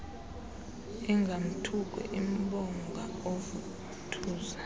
ingamthuki imbonga oovuthuza